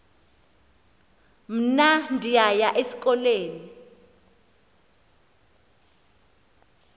mna ndiyaya esikolweni